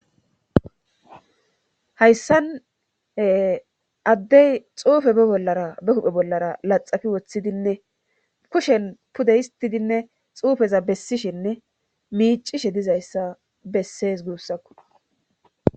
Hayssane addey xuufe be bollara be kuphe bollara laxafi woththidinne kushen pude histidinne xuufeza bessishinne miicishe dizayssa bessees guussakku.